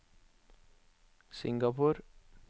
Singapore